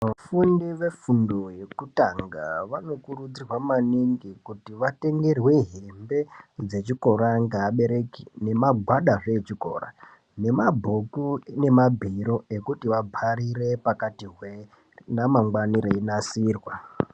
Vafundi vegundo yekutanga vanokurudzirwa maningi kuti vatengerwe hembe dzechikora ngaabereki nemagwadazve echikora nemabhuku nemabhiro ekuti vabharire pakati hwee ramangwani reinasirwa.